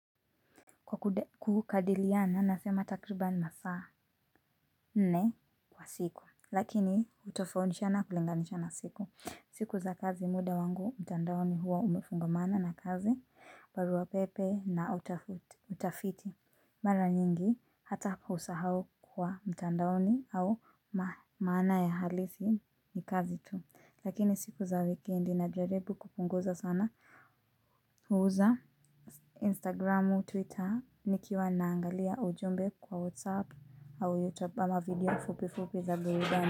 Kwa kukadiliana nasema takribani masaa nne kwa siku. Lakini hutofautishana kulinganisha na siku. Siku za kazi muda wangu mtandaoni huwa umefungamana na kazi, barua pepe na utafiti. Mara nyingi hata hapa usahau kwa mtandaoni au maana ya halisi ni kazi tu. Lakini siku za wikendi najaribu kupunguza sana. Uza Instagram Twitter Nikiwa naangalia ujumbe kwa WhatsApp Au YouTube ama video fupi fupi za burudani.